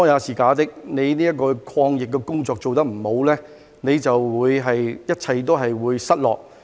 政府的抗疫工作做得不好，還有甚麼好說，一切都會失落。